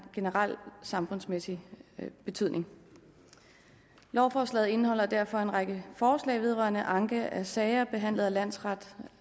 generel samfundsmæssig betydning lovforslaget indeholder derfor en række forslag vedrørende anke af sager behandlet af landsret